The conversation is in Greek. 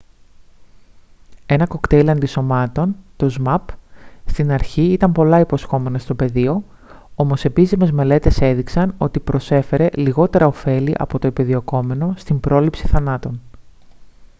ένα κοκτέιλ αντισωμάτων το zmapp στην αρχή ήταν πολλά υποσχόμενο στο πεδίο όμως επίσημες μελέτες έδειξαν ότι πρόσφερε λιγότερα οφέλη από το επιδιωκόμενο στην πρόληψη θανάτων